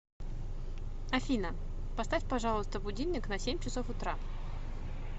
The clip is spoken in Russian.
афина поставь пожалуйста будильник на семь часов утра